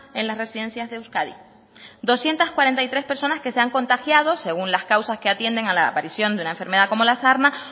en las residencias de euskadi doscientos cuarenta y tres personas que se han contagiado según las causas que atienden a la aparición de una enfermedad como la sarna